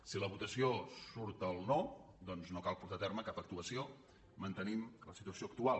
si a la votació surt el no doncs no cal portar a terme cap actuació mantenim la situació actual